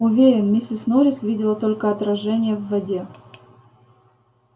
уверен миссис норрис видела только отражение в воде